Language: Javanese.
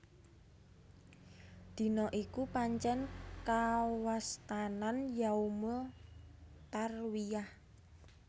Dina iku pancèn kawastanan Yaumul Tarwiyah